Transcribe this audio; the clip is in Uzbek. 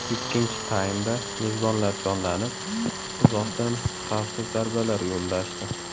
Ikkinchi taymda mezbonlar jonlanib, uzoqdan xavfli zarbalar yo‘llashdi.